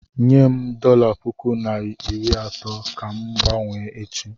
Nyem dọla puku na iri atọ ka m ga-gbanwee echi.